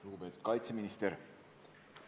Lugupeetud kaitseminister!